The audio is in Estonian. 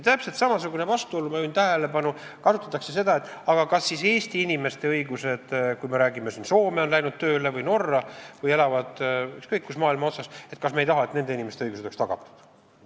Täpselt samasugune vastuolu, ma juhin tähelepanu, on siis, kui arutatakse seda, et Eesti inimesed on läinud Soome või Norra või elavad ükskõik kus maailma otsas, et kas me ei taha, et nende inimeste õigused oleks tagatud.